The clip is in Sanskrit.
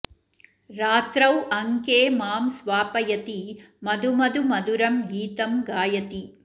रात्रौ अङ्के मां स्वापयति मधु मधु मधुरं गीतं गायति